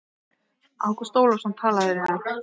Ágúst Ólafsson talaði við hann.